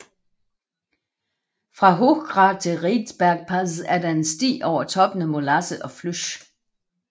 Fra Hochgrat til Riedbergpass er der en sti over toppene Molasse og Flysh